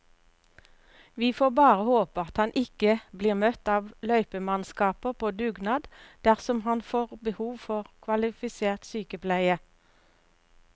Vi får bare håpe at han ikke blir møtt av løypemannskaper på dugnad dersom han får behov for kvalifisert sykepleie.